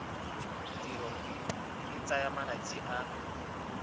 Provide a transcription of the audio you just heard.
tirelo e tsaya malatsi a